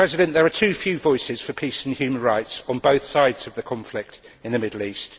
There are too few voices for peace and human rights on both sides of the conflict in the Middle East.